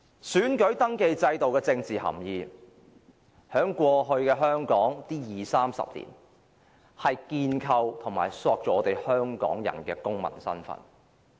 選民登記制度具有政治含義，在過去二三十年的香港，這制度建構和塑造了我們香港人的公民身份。